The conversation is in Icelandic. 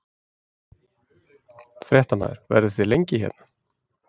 Fréttamaður: Verðið þið lengi hérna?